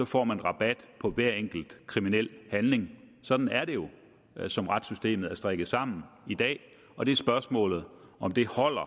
får man rabat på hver enkelt kriminel handling sådan er det jo som retssystemet er strikket sammen i dag og det er spørgsmålet om det holder